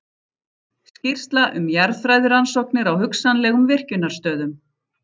Skýrsla um jarðfræðirannsóknir á hugsanlegum virkjunarstöðum.